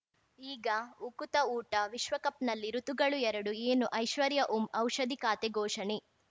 ಈಗ ಉಕುತ ಊಟ ವಿಶ್ವಕಪ್‌ನಲ್ಲಿ ಋತುಗಳು ಎರಡು ಏನು ಐಶ್ವರ್ಯಾ ಓಂ ಔಷಧಿ ಖಾತೆ ಘೋಷಣೆ